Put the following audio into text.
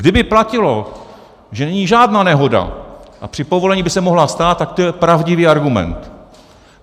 Kdyby platilo, že není žádná nehoda a při povolení by se mohla stát, tak to je pravdivý argument.